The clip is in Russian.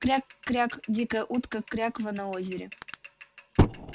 кряк-кряк дикая утка кряква на озере